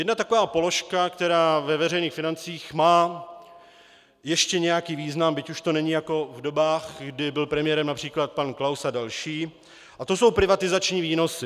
Jedna taková položka, která ve veřejných financích má ještě nějaký význam, byť už to není jako v dobách, kdy byl premiérem například pan Klaus a další, a to jsou privatizační výnosy.